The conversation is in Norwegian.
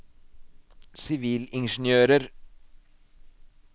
sivilingeniører